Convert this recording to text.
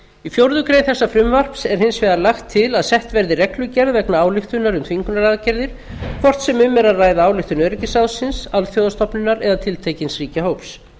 í fjórða grein þessa frumvarps er hins vegar lagt til að sett verði reglugerð vegna ályktunar um þvingunaraðgerðir hvort sem um er að ræða ályktun öryggisráðsins alþjóðastofnunar eða tiltekins ríkjahóps